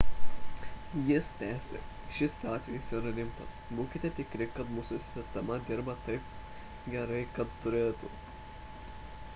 jis tęsė šis atvejis yra rimtas būkite tikri kad mūsų sistema dirba taip gerai kaip turėtų